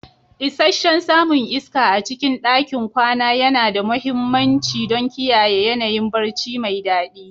Isasshen samun iska a cikin ɗakin kwana yana da mahimmanci don kiyaye yanayin barci mai daɗi.